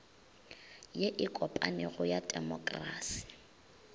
ye e kopanego ya temokrasi